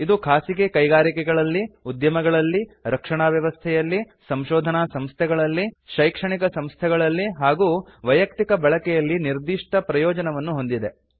ಇದು ಖಾಸಗಿ ಕೈಗಾರಿಕೆಗಳಲ್ಲಿ ಉದ್ಯಮಗಳಲ್ಲಿ ರಕ್ಷಣಾ ವ್ಯವಸ್ಥೆಯಲ್ಲಿ ಸಂಶೋಧನಾ ಸಂಸ್ಥೆಗಳಲ್ಲಿ ಶೈಕ್ಷಣಿಕ ಸಂಸ್ಥೆಗಳಲ್ಲಿ ಹಾಗೂ ವೈಯಕ್ತಿಕ ಬಳಕೆಯಲ್ಲಿ ನಿರ್ದಿಷ್ಟ ಪ್ರಯೋಜನವನ್ನು ಹೊಂದಿದೆ